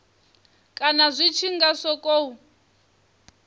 kana zwi tshi nga sokou